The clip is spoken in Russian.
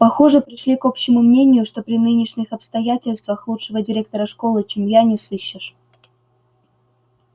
похоже пришли к общему мнению что при нынешних обстоятельствах лучшего директора школы чем я не сыщешь